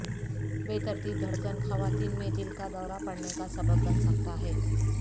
بے ترتیب دھڑکن خواتین میں دل کا دورہ پڑھنے کا سبب بن سکتا ہے